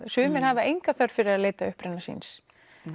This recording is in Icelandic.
sumir hafa enga þörf fyrir að leita uppruna síns